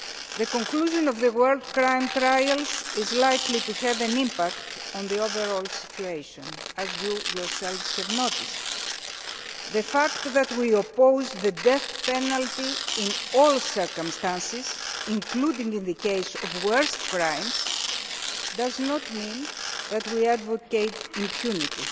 The conclusion of the war crimes trials is likely to have an impact on the overall situation, as you have noted. The fact that we oppose the death penalty in all circumstances, including for the worst crimes, does not mean that we advocate impunity.